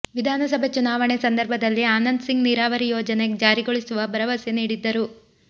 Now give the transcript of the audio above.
ವಿಧಾನಸಭೆ ಚುನಾವಣೆ ಸಂದರ್ಭದಲ್ಲಿ ಆನಂದ್ ಸಿಂಗ್ ನೀರಾವರಿ ಯೋಜನೆ ಜಾರಿಗೊಳಿಸುವ ಭರವಸೆ ನೀಡಿದ್ದರು